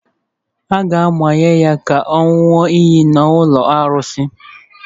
A ga-amanye ya ka ọ ṅụọ iyi n’ụlọ arụsị